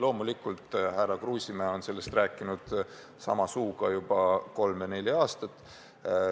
Loomulikult härra Kruusimäe on seda juttu rääkinud juba kolm-neli aastat.